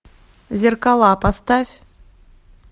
зеркала поставь